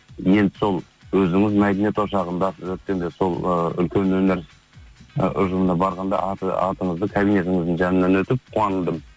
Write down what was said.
енді сол өзіңіз мәдениет ошағындасыз өткенде сол ы үлкен өнер ы ұжымына барғанда атыңызды кабинетіңіздің жанынан өтіп қуандым